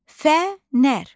Fənər.